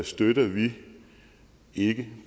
støtter vi ikke